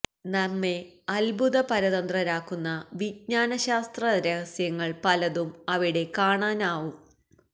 നമ്മെ അത്ഭുത പരതന്ത്രരാക്കുന്ന വിജ്ഞാന ശാസ്ത്ര രഹസ്യങ്ങൾ പലതും അവിട കാണുവാനാകും